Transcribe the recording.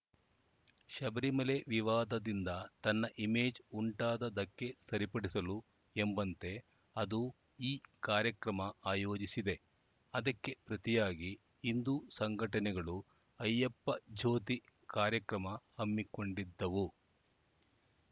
ಶಬರಿಮಲೆ ವಿವಾದದಿಂದ ತನ್ನ ಇಮೇಜ್‌ ಉಂಟಾದ ಧಕ್ಕೆ ಸರಿಪಡಿಸಲು ಎಂಬಂತೆ ಅದು ಈ ಕಾರ್ಯಕ್ರಮ ಆಯೋಜಿಸಿದೆ ಅದಕ್ಕೆ ಪ್ರತಿಯಾಗಿ ಹಿಂದೂ ಸಂಘಟನೆಗಳು ಅಯ್ಯಪ್ಪ ಜ್ಯೋತಿ ಕಾರ್ಯಕ್ರಮ ಹಮ್ಮಿಕೊಂಡಿದ್ದವು